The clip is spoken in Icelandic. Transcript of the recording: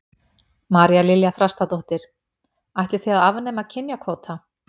María Lilja Þrastardóttir: Ætlið þið að afnema kynjakvóta?